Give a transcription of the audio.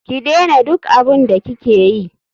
Ki dena duk abun da ki keyi.